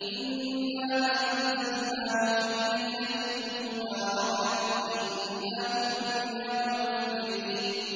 إِنَّا أَنزَلْنَاهُ فِي لَيْلَةٍ مُّبَارَكَةٍ ۚ إِنَّا كُنَّا مُنذِرِينَ